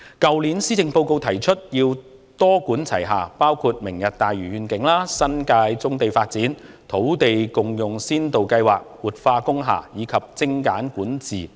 去年的施政報告提出要多管齊下，包括"明日大嶼願景"、發展新界棕地、土地共享先導計劃、活化工廈，以及精簡管治等。